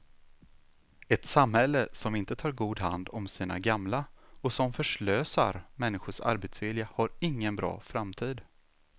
Ett samhälle som inte tar god hand om sina gamla och som förslösar människors arbetsvilja har ingen bra framtid.